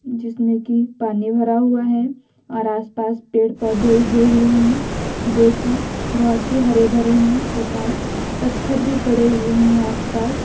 जिसमें की पानी भरा हुआ है और आसपास पेड़ पौधे उगे हुए हैं जोकि बहुत ही हरे भरे हैं तथा पत्थर भी पड़े हुए हैं आसपास।